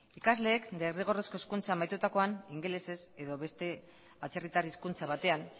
ikasleek derrigorrezko hezkuntza amaitutakoan ingelesez edo beste atzerritar hizkuntza batean